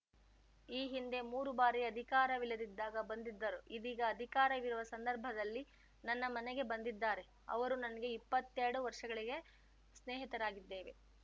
ಈ ಹಿಂದೆ ಮೂರು ಬಾರಿ ಅಧಿಕಾರವಿಲ್ಲದಿದ್ದಾಗ ಬಂದಿದ್ದರು ಇದೀಗ ಅಧಿಕಾರವಿರುವ ಸಂದರ್ಭದಲ್ಲಿ ನನ್ನ ಮನೆಗೆ ಬಂದಿದ್ದಾರೆ ಅವರು ನನಗೆ ಇಪ್ಪತ್ತೆರಡು ವರ್ಷಗಳಿಗೆ ಸ್ನೇಹಿತರಾಗಿದ್ದೇವೆ